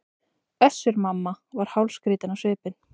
Össur-Mamma var hálfskrýtinn á svipinn.